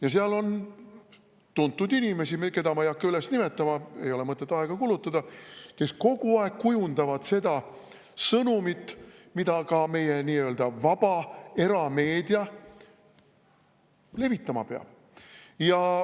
Ja seal on tuntud inimesi, keda ma ei hakka nimetama – ei ole mõtet aega kulutada –, kes kogu aeg kujundavad seda sõnumit, mida ka meie nii-öelda vaba erameedia levitama peab.